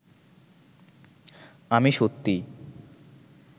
আমি সত্যি